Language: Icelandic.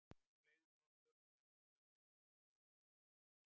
Þá fleygðum við okkur á sendna ströndina og leyfðum sólinni að baka okkur.